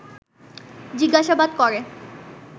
জিজ্ঞাসাবাদ করে